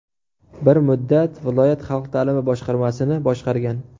Bir muddat viloyat xalq ta’limi boshqarmasini boshqargan.